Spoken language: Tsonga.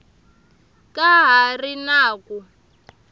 ka ha ri na ku